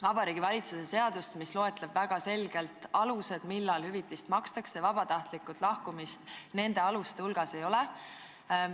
Vabariigi Valitsuse seadus loetleb väga selgelt alused, millal hüvitist makstakse, vabatahtlikku lahkumist nende aluste hulgas ei ole.